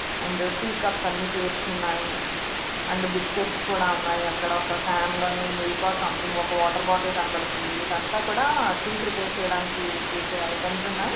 And tea cups అన్నీ పేర్చి ఉన్నాయి. అండ్ బిస్కట్స్ కూడా ఉన్నాయి.అక్కడ ఒక క్యాన్ లోని మిల్క్ ఆర్ సమ్థింగ్ ఒక వాటర్ బాటల్ కనపడుతుంది. చేయడానికి యూస్ చేసే ఐటెమ్స్ ఉన్నాయి.